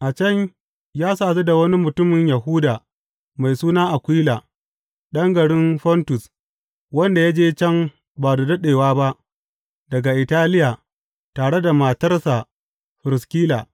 A can ya sadu da wani mutumin Yahuda mai suna Akwila, ɗan garin Fontus, wanda ya je can ba da daɗewa ba daga Italiya tare da matarsa Firiskila,